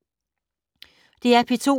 DR P2